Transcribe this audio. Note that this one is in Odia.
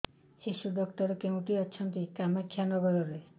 ଶିଶୁ ଡକ୍ଟର କୋଉଠି ଅଛନ୍ତି କାମାକ୍ଷାନଗରରେ